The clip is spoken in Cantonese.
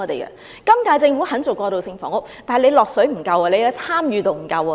現屆政府肯參與，但沒有投放足夠資源，參與程度也不足夠。